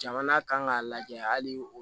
Jamana kan k'a lajɛ hali